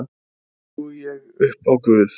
Því trúi ég upp á Guð.